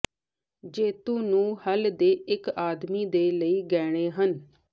ਜੇਤੂ ਨੂੰ ਹੱਲ ਦੇ ਇੱਕ ਆਦਮੀ ਦੇ ਲਈ ਗਹਿਣੇ ਹਨ